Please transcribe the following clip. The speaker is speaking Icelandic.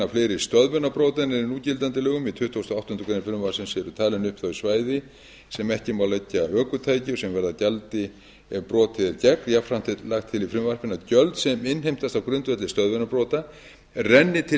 fleiri stöðvunarbrota en er í núgildandi lögum í tuttugasta og áttundu greinar frumvarpsins eru talin upp þau svæði sem ekki má leggja ökutækjum sem varða gjaldi ef brotið er gegn jafnframt er lagt til í frumvarpinu að gjöld sem innheimtast á grundvelli stöðvunarbrota renni til